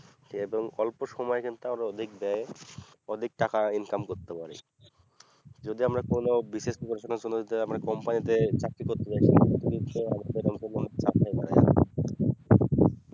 সে একদম অল্প সময়ের কিন্তু আরো দেখবে অধিক টাকা income করতে পারি যদি আমি কোনো BCSpreparation এর সময়ে যদি আমরা company তে চাকরি করতে যাই